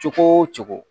Cogo o cogo